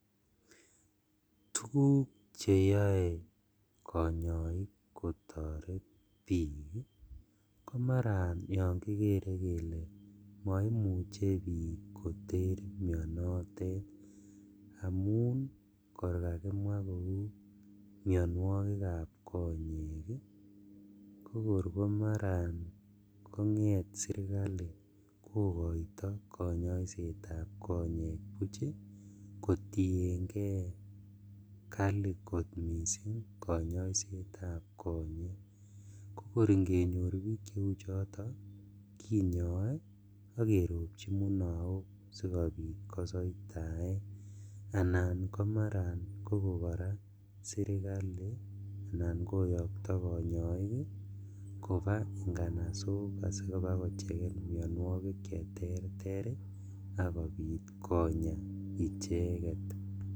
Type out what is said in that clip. Tuguk cheyoe konyoik kotoret bik ii komaran yon kikere kele moimuche bik koter mionotet amun kor kakimwa kou mionuokikab konyek ii kokor komaran konget sirkali kokoito konyoisetab konyek buch kotiengee kali kot missing' konyoisetab kokor ingenyor bik cheuchoton kinyoe ak keropchi munook sikobit kosoitaen anan komaran koraa kokon sirkali anan kouokro konyoik ii kobaa inganasok asikobakoecheken mionuokik cheterter ii akobit konyaa icheket.